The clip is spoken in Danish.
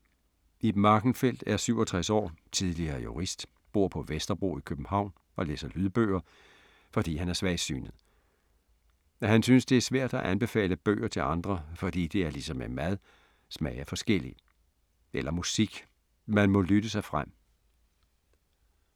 Ib Markenfeldt er 67 år, tidligere jurist, bor på Vesterbro i København og læser lydbøger, fordi han er svagsynet. Han synes, det er svært at anbefale bøger til andre, fordi det er ligesom med mad, smag er forskellig. Eller musik, man må lytte sig frem.